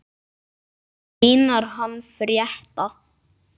Einar hann frétta.